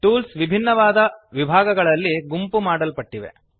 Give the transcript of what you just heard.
tools ಭಿನ್ನವಾದ ವಿಭಾಗಗಳಲ್ಲಿ ಗುಂಪುಮಾಡಲ್ಪಟ್ಟಿವೆ